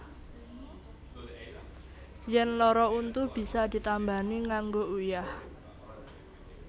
Yèn lara untu bisa ditambani nganggo uyah